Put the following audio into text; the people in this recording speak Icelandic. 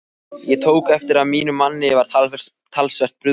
Ég tók eftir að mínum manni var talsvert brugðið.